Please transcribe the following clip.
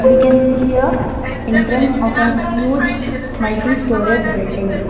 We can see a entrance of an huge multI storage building.